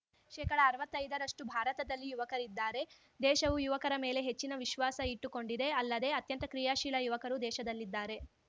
ಶೇಕಡಅರ್ವತ್ತೈದರಷ್ಟುಭಾರತದಲ್ಲಿ ಯುವಕರಿದ್ದಾರೆ ದೇಶವು ಯುವಕರ ಮೇಲೆ ಹೆಚ್ಚಿನ ವಿಶ್ವಾಸ ಇಟ್ಟುಕೊಂಡಿದೆ ಅಲ್ಲದೆ ಅತ್ಯಂತ ಕ್ರಿಯಾಶೀಲ ಯುವಕರು ದೇಶದಲ್ಲಿದ್ದಾರೆ